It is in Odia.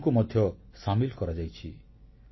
ମହିଳାମାନଙ୍କୁ ମଧ୍ୟ ସାମିଲ କରାଯାଇଛି